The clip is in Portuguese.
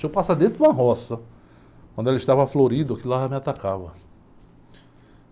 Se eu passasse dentro de uma roça, quando ela estava florida, aquilo lá já me atacava.